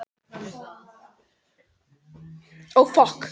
Tel mig vita betur um veðrið heima, vindana þar og vökustaurana.